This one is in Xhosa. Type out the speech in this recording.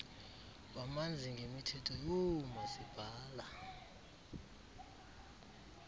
bamanzi ngemithetho yoomasipala